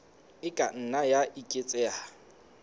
e ka nna ya eketseha